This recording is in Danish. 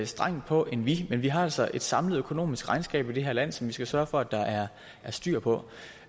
strengt på end vi men vi har altså et samlet økonomisk regnskab i det her land som vi skal sørge for at der er styr på